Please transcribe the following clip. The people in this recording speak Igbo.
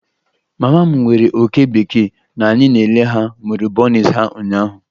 Mama m nwere oke bekee na anyị na-ele ha mụrụ bunnies ha ụnyaahụ.